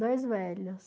Dois velhos.